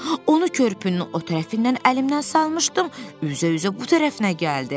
Onu körpünün o tərəfindən əlimdən salmışdım, üzə-üzə bu tərəfinə gəldi.